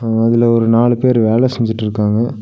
அதுல ஒரு நாலு பேர் வேல செஞ்சிட்ருக்காங்க.